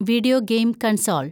video game console‍